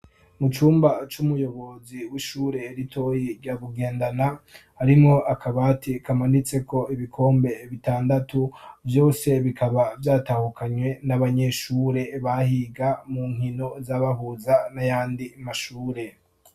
Mu cumba c'umuyobozi w'ishure ritoyi rya Bugendana, harimwo akabati kamanitseko ibikombe bitandatu, vyose bikaba vyatahukanywe n'abanyeshure bahiga mu nkino zabahuza n'ayandi mashure.